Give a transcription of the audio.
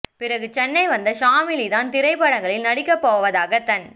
பிறகு சென்னை வந்த ஷாமிலி தான் திரைப்படங்களில் நடிக்க போவதாக தன்